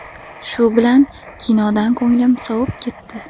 Shu bilan kinodan ko‘nglim sovib ketdi.